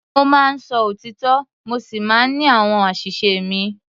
Mo máa ń sọ òtítọ́ mo sì máa ń ní àwọn àṣìṣe mi.